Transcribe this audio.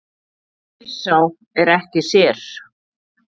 Spyr sá er ekki sér.